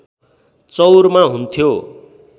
चौरमा हुन्थ्यो